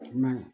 I ma ye